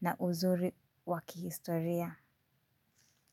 na uzuri wa kihistoria.